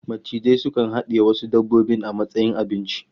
Macizai sukan hadiye wasu dabbobin a matsayin abinci